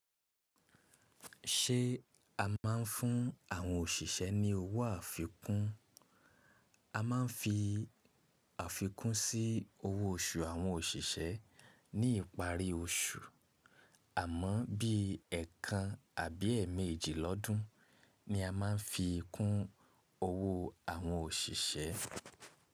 Ṣé a máa ń fún àwọn òṣìṣẹ́ ní owó àfikún? A máa ń fi àfikún sí owó oṣù àwọn òṣìṣẹ́ ní ìparí oṣù, àmọ́ bí ẹ̀kan àbí ẹẹ̀mẹ́jì lọ́dún ni a máa ń fi kún owó àwọn òṣìṣẹ́.